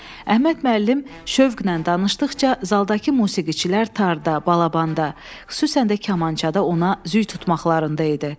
Əhməd müəllim şövqlə danışdıqca, zaldakı musiqiçilər tarda, balabanda, xüsusən də kamançada ona züy tutmaqlarında idi.